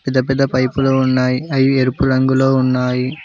పెద్ద పెద్ద పైప్లు ఉన్నాయి అవి ఎరుపు రంగులో ఉన్నాయి.